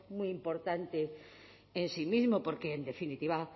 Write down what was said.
muy importante en sí mismo porque en definitiva